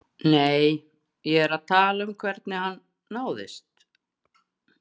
Nei, ég er að tala um hvernig hann náðist.